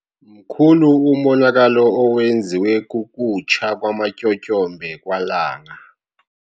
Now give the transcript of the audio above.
Mkhulu umonakalo owenziwe kukutsha kwamatyotyombe kwaLanga.